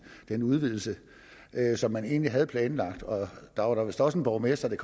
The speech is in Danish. den udvidelse som man egentlig havde planlagt der var da vist også en borgmester i